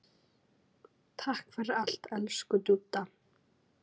Takk fyrir allt, elsku Dúdda.